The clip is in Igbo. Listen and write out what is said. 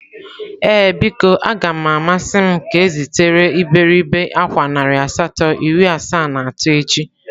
Ee biko, a ga m amasị m ka ezitere iberibe akwa narị asatọ iri asaa na atọ echi.